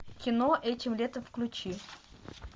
кино этим летом включи